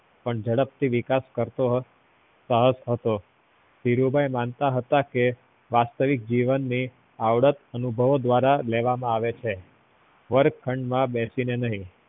પણ ઝડપથી વિકાસ કરતો જતો હતો ધીરુભાઈ માનતા હતા કે વાસ્તવિક જીવન ને આવડત અનુભવ દ્વારા લેવા માં આવે છે વર્ગખંડ માં બેસીને ની